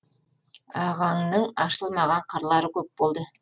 ағаңның ашылмаған қырлары көп болды